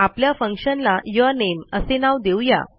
आपल्या फंक्शन ला यूरनेम असे नाव देऊ या